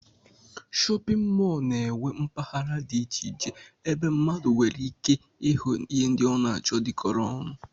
Shọpịn mọl na-enwe mpaghara dị iche iche ebe mmadụ nwereike ịhụ ihe ndị ọ na-achọ dịkọrọ ọnụ